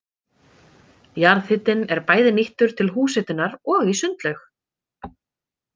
Jarðhitinn er bæði nýttur til húshitunar og í sundlaug.